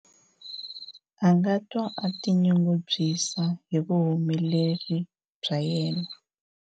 a nga twa a tinyungubyisa hi vuhumeleri bya yena